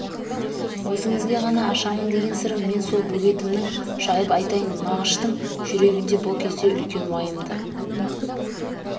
өзіңізге ғана ашамын деген сырым мен сол бөгетімнің жайып айтайын мағыштың жүрегінде бұл кезде үлкен уайымды